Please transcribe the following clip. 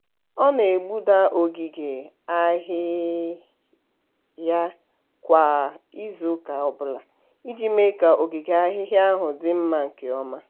ọ na-egbuda ogige ahịhịa kwa izuụka ọbụla iji mee ka ogige ahịhịa ahụ dị mma nke ọma.